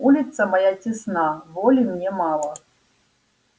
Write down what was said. улица моя тесна воли мне мало